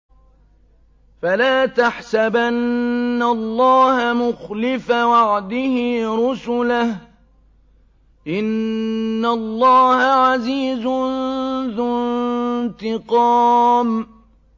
فَلَا تَحْسَبَنَّ اللَّهَ مُخْلِفَ وَعْدِهِ رُسُلَهُ ۗ إِنَّ اللَّهَ عَزِيزٌ ذُو انتِقَامٍ